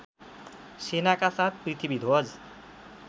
सेनाका साथ पृथ्वीध्वज